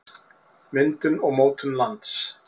myndun og mótun lands